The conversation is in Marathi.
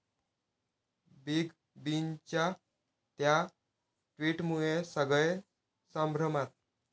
बिग बींच्या 'त्या' ट्विटमुळे सगळे संभ्रमात!